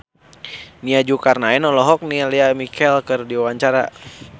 Nia Zulkarnaen olohok ningali Lea Michele keur diwawancara